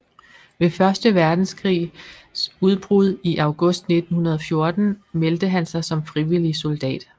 Ved første verdenskrigs udbrud i august 1914 meldte han sig som frivillig soldat